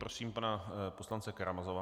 Prosím pana poslance Karamazova.